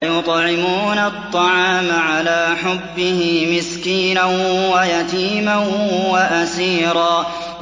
وَيُطْعِمُونَ الطَّعَامَ عَلَىٰ حُبِّهِ مِسْكِينًا وَيَتِيمًا وَأَسِيرًا